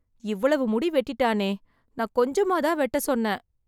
இவ்வளவு முடி வெட்டிட்டானே நான் கொஞ்சமா தான் வெட்ட சொன்னேன்